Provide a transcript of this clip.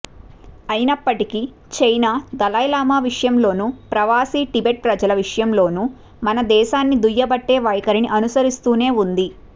అయినప్పటికీ చైనా దలైలామా విషయంలోను ప్రవాసీ టిబెట్ ప్రజల విషయంలోను మన దేశాన్ని దుయ్యబట్టే వైఖరిని అనుసరిస్తూనే ఉంది